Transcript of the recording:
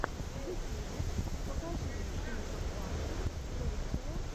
в ютьюбе покажи мне кинокомпанию русское